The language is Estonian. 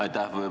Aitäh!